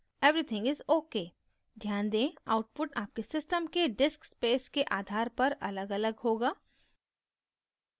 everything is ok ध्यान दें output आपके system के disk space के आधार पर अलग अलग होगा